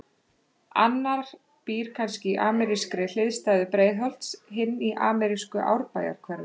Annar býr kannski í amerískri hliðstæðu Breiðholts, hinn í amerísku Árbæjarhverfi.